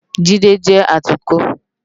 Jide jé átùkò